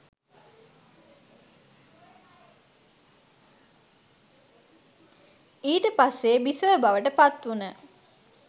ඊට පස්සෙ බිසව බවට පත් වුන